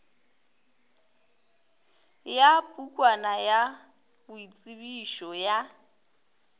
ya pukwana ya boitsebišo ya